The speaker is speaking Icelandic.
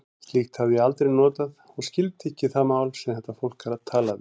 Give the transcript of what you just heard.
Slíkt hafði ég aldrei notað og skildi ekki það mál, sem þetta fólk talaði.